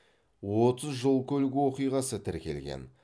отыз жол көлік оқиғаы тіркелген